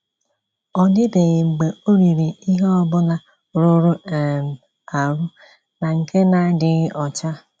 Ọ dịbeghị mgbe o “ riri ihe ọ bụla rụrụ um arụ na nke na-adịghị ọcha.